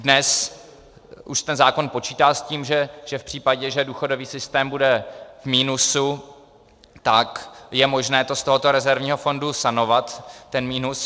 Dnes už ten zákon počítá s tím, že v případě, že důchodový systém bude v minusu, tak je možné to z tohoto rezervního fondu sanovat, ten minus.